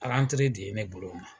de ye ne bolo ma.